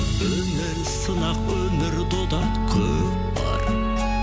өмір сынақ өмір дода көкпар